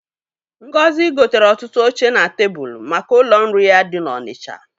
Ngozi gotere ọtụtụ oche na tebulu maka ụlọ nri ya dị n'Ọnịcha.